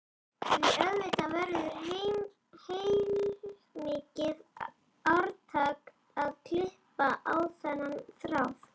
Því auðvitað verður heilmikið átak að klippa á þennan þráð.